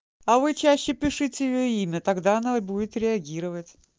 а вы чаще пишите её имя тогда она и будет реагировать